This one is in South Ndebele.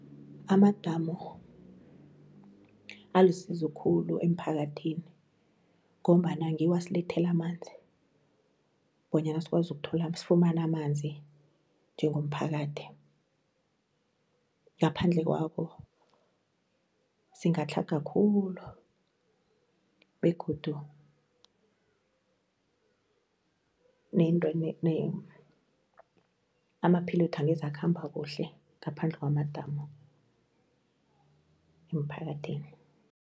Amadamu alisizo khulu emphakathini ngombana ngiwo asilethela amanzi bonyana sikwazi sifumana amanzi njengomphakathi, ngaphandle kwawo singatlhaga khulu, begodu amaphilwethu angeze akhamba kuhle ngaphandle kwamadamu emphakathini.